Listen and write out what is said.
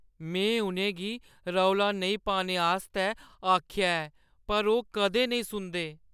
में उʼनें गी रौला नेईं पाने आस्तै आखेआ ऐ, पर ओह् कदें नेईं सुनदे।